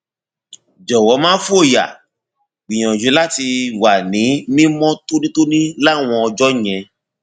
jọwọ má fòyà gbìyànjú láti wà ní mímọ tónítóní láwọn ọjọ yẹn